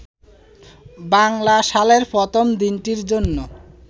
বাংলা সালের প্রথম দিনটির জন্য